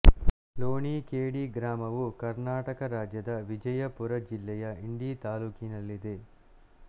ಲೋಣಿ K D ಗ್ರಾಮವು ಕರ್ನಾಟಕ ರಾಜ್ಯದ ವಿಜಯಪುರ ಜಿಲ್ಲೆಯ ಇಂಡಿ ತಾಲ್ಲೂಕಿನಲ್ಲಿದೆ